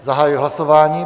Zahajuji hlasování.